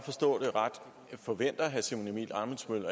får